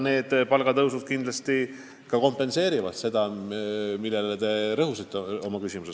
Need palgatõusud kindlasti kompenseerivad seda kaotust, millele te viitasite oma küsimuses.